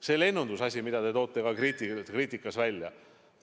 Seda lennundusasja te samuti toote kriitiliselt välja.